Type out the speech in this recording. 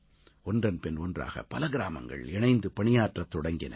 ஒன்றன்பின் ஒன்றாக பல கிராமங்கள் இணைந்து பணியாற்றத் தொடங்கின